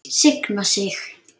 Signa sig?